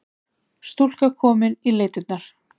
Stúlka komin í leitirnar